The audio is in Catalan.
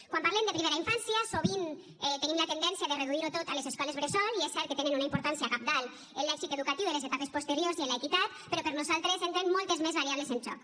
quan parlem de primera infància sovint tenim la tendència de reduir ho tot a les escoles bressol i és cert que tenen una importància cabdal en l’èxit educatiu de les etapes posteriors i en l’equitat però per nosaltres entren moltes més variables en joc